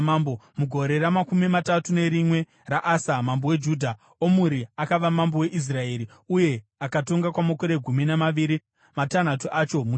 Mugore ramakumi matatu nerimwe raAsa, mambo weJudha, Omuri akava mambo weIsraeri, uye akatonga kwamakore gumi namaviri, matanhatu acho muTiza.